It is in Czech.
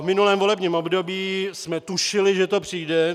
V minulém volebním období jsme tušili, že to přijde.